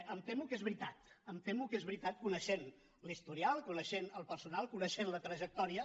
em temo que és veritat em temo que és veritat coneixent l’historial coneixent el personal coneixent la trajectòria